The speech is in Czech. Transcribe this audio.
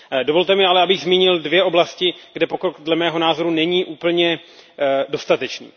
Dovolte mi ale, abych zmínil dvě oblasti, kde pokrok dle mého názoru není úplně dostatečný.